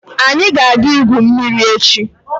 Anyi ga aga igwu mmiri echi?